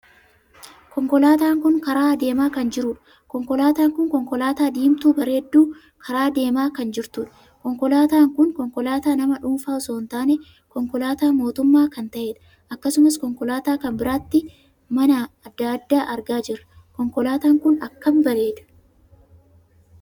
Konkolaataan kun karaa adeemaa kan jiruudha. konkolaataan kun konkolaataa diimtuu bareeddu karaa deemaa kan jirtuudha. konkolaataan kun konkolaataa nama dhuunfaa osoo hin taane, konkolaataa mootummaa kan taheedha. akkasumas konkolaataa kan biratti mana addaa addaa argaa jirra. konkolaataan kun akkam bareeda!